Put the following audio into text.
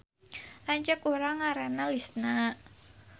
Lanceuk urang ngaranna Lisna